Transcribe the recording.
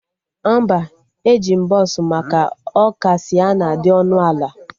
Mba, eji m bọsụ maka ọ ka Sịenna dị ọnụ ala